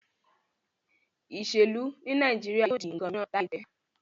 Iselu ni Naijiria yóò di nkan miran laipẹ.